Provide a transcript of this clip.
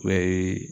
U b'a ye